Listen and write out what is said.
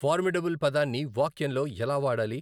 Formidable పదాన్ని వాక్యంలో ఎలా వాడాలి?